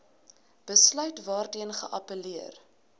besluit waarteen geappelleer